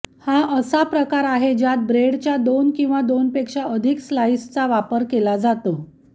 हा असा प्रकार आहे ज्यात ब्रेडच्या दोन किंवा दोनपेक्षा अधिक स्लाईसचा वापर केला जातो